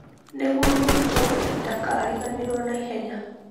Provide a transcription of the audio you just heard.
Nĩgũo mũrutwo ndakariganĩrwo naihenya.